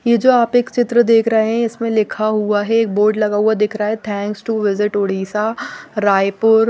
ये जो आप एक चित्र देख रहे हैं इसमें लिखा हुआ है एक बोर्ड लगा हुआ दिख रहा है thanks to visit Orissa Raipur--